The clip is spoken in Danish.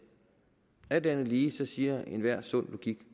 alt andet lige siger enhver sund logik